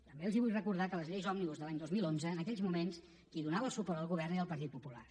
també els vull recordar que en les lleis òmnibus de l’any dos mil onze en aquells moments qui donava el suport al govern era el partit popular